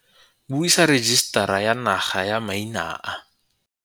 Buisa Rejisetara ya Naga ya Maina a.